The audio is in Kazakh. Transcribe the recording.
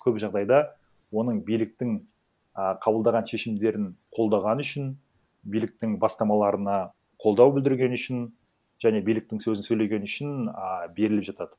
көп жағдайда оның биліктің а қабылдаған шешімдерін қолдағаны үшін биліктің бастамаларына қолдау білдіргені үшін және биліктің сөзін сөйлегені үшін а беріліп жатады